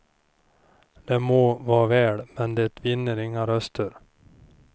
Det må vara väl, men det vinner inga röster.